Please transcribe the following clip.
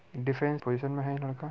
Defence position में है ये लड़का।